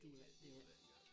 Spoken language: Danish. Det ikke det